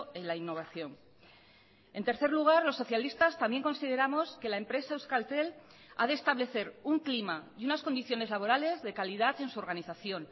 en la innovación en tercer lugar los socialistas también consideramos que la empresa euskaltel ha de establecer un clima y unas condiciones laborales de calidad en su organización